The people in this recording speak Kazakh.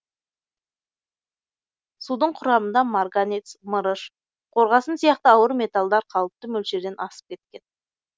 судың құрамында марганец мырыш қорғасын сияқты ауыр металдар қалыпты мөлшерден асып кеткен